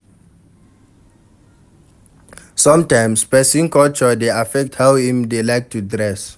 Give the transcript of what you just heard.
Sometimes, person culture dey affect how Im dey like to dress